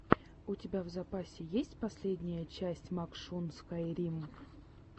у тебя в запасе есть последняя часть макшун скайрим